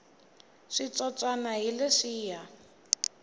switsotswana hi leswiya